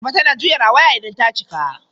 Ayaba tana juya rawaya idan ta cika.